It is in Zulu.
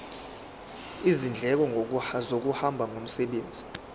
izindleko zokuhamba ngomsebenzi